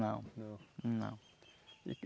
Não não não.